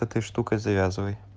с этой штукой завязывай